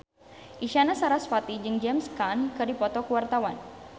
Isyana Sarasvati jeung James Caan keur dipoto ku wartawan